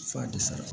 F'a de sara